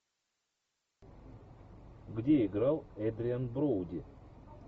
где играл эдриан броуди